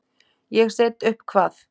Ég set upp hvað?